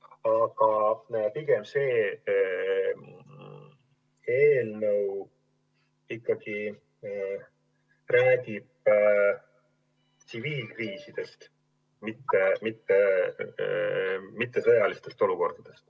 Aga see eelnõu ikkagi räägib tsiviilkriisidest, mitte sõjalistest olukordadest.